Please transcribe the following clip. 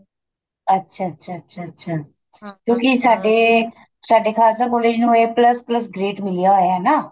ਅੱਛਾ ਅੱਛਾ ਅੱਛਾ ਅੱਛਾ ਕਿਉਂਕਿ ਸਾਡੇ ਸਾਡੇ ਖਾਲਸਾ collage ਨੂੰ a plus plus ਗਰਦੇ ਮਿਲਿਆ ਹੋਇਆ ਨਾ